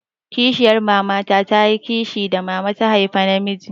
Kishiyar mama ta yi kishi da mama ta haifa namijin.